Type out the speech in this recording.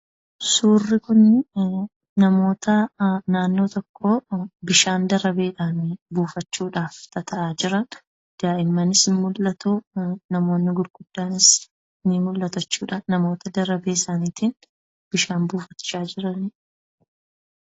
suurri kun namoota naannoo tokkoo bishaan darabeedhaan waraabbachuudhaaf tata'a jiranidha. Daa'immanis ni mul'atu , namoonni gurguddaanis ni mul'atu. Namoota darabee isaaniitiin bishaan waraabanidha.